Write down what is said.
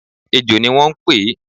ẹ́jọ ní wo n pe